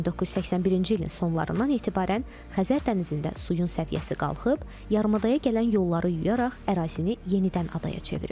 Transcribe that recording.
1981-ci ilin sonlarından etibarən Xəzər dənizində suyun səviyyəsi qalxıb, yarımadaya gələn yolları yuyaraq ərazini yenidən adaya çevirib.